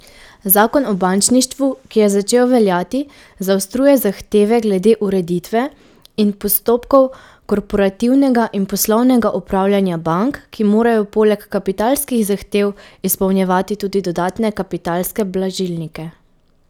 Zakon o bančništvu, ki je začel veljati, zaostruje zahteve glede ureditve in postopkov korporativnega in poslovnega upravljanja bank, ki morajo poleg kapitalskih zahtev izpolnjevati tudi dodatne kapitalske blažilnike.